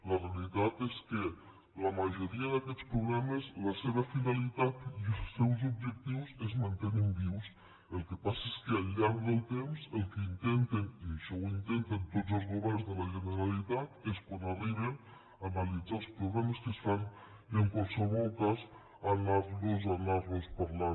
la veritat és que en la majoria d’aquests programes la seva finalitat i els seus objectius es mantenen vius el que passa és que al llarg del temps el que intenten i això ho intenten tots els governs de la generalitat és quan arriben analitzar els programes que es fan i en qualsevol cas anar los parlant